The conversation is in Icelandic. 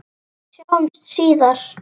Sjáumst síðar!